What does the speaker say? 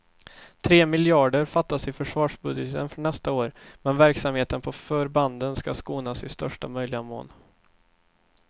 Tre miljarder fattas i försvarsbudgeten för nästa år, men verksamheten på förbanden ska skonas i största möjliga mån.